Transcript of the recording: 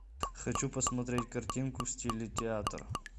хочу посмотреть картинку в стиле театр